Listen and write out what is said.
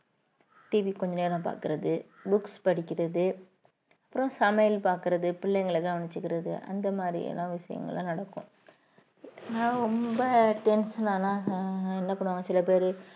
TV கொஞ்ச நேரம் பாக்குறது books படிக்கிறது அப்புறம் சமையல் பார்க்கிறது பிள்ளைங்களை கவனிச்சுக்கிறது அந்த மாதிரியான விஷயங்கள் எல்லாம் நடக்கும் நான் ரொம்ப tension ஆனா ஆஹ் என்ன பண்ணுவாங்க சில பேரு